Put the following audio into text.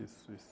Isso, isso.